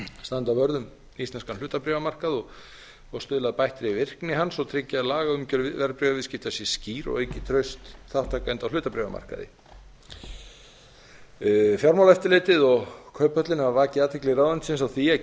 standa vörð um íslenskan hlutabréfamarkað og stuðla að bættri virkni hans og tryggja að lagaumgjörð verðbréfaviðskipta sé skýr og auki traust þátttakenda á hlutabréfamarkaði fjármálaeftirlitið og kauphöllin hafa vakið athygli ráðuneytisins á því að